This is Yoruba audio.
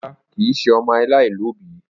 Rara, kii ṣe ọmọ alaialobi.